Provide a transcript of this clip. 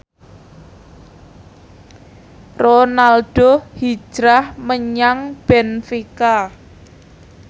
Ronaldo hijrah menyang benfica